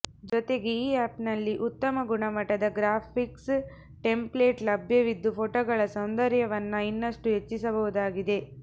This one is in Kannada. ಜೊತೆಗೆ ಈ ಆಪ್ನಲ್ಲಿ ಉತ್ತಮ ಗುಣಮಟ್ಟದ ಗ್ರಾಫಿಕ್ಸ್ ಟೆಂಪ್ಲೇಟ್ ಲಭ್ಯವಿದ್ದು ಪೋಟೋಗಳ ಸೌಂದರ್ಯವನ್ನ ಇನ್ನಷ್ಟು ಹೆಚ್ಚಿಸಬಹುದಾಗಿದೆ